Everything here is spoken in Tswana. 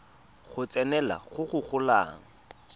go tsenelela go go golang